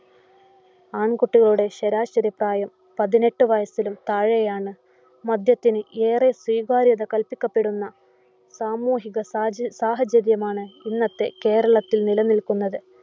ആൺകുട്ടികളുടെ ശരാശരി പ്രായം പതിനെട്ടു വയസിനും താഴയാണ്. മദ്യത്തിന് ഏറെ സ്വീകാര്യത കല്പിക്കപ്പെടുന്ന സാമൂഹിക സാച സാഹചര്യമാണ് ഇന്നത്തെ കേരളത്തിൽ നില നിൽക്കുന്നത്.